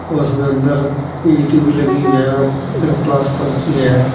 उसमें अंदर ईंट भी लगी हुई है बगैर पलस्तर किए है।